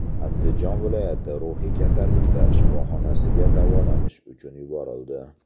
Andijon viloyati ruhiy kasalliklar shifoxonasiga davolanish uchun yuborildi.